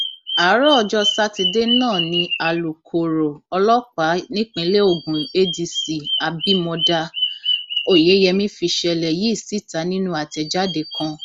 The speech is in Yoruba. àárọ ọjọ sátidé náà ni alūkkoro ọlọpàá nípínlẹ ogun adc abimodá oyeyẹmí fìṣẹlẹ yìí síta nínú àtẹjáde kan